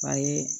A ye